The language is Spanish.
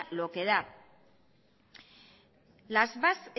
lo que da